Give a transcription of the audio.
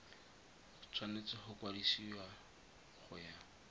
tshwanetse go kwadisiwa go ya